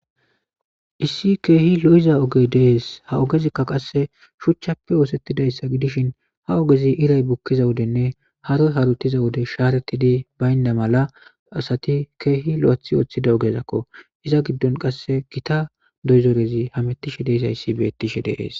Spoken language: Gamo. Issi keehi lo7iza oge dees ha ogezikka qasse shuchchappe oosettidayssa gidishin ha ogezi iray bukkiza wudenne haro harutiza wode shaaretidi baynda mala asati keehi lo7athi ooththida ogezakko iza giddon qasse gita doyzoorezi hamettishe dees ayssi beettishe dees.